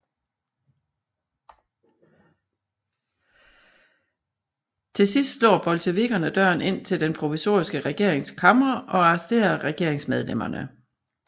Til sidst slår bolsjevikkerne døren ind til den provisoriske regerings kamre og arresterer regeringsmedlemmerne